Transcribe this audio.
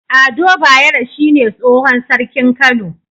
Ado bayero shine tsohon sarkin kano